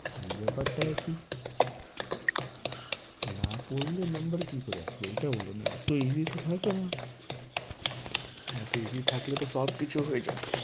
ব্যাপারটা একই না পড়লে number কি করে আসবে এটা বলো না? এতো easy তো থাকে না এতো easy থাকলে তো সব কিছু হয়ে যেত।